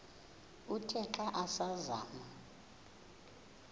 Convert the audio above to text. uthe xa asazama